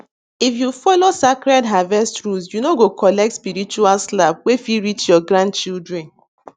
if you follow sacred harvest rules you no go collect spiritual slap wey fit reach your grandchildren